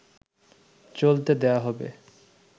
চলতে দেয়া হবে